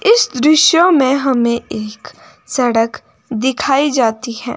इस दृश्य में हमें एक सड़क दिखाई जाती है।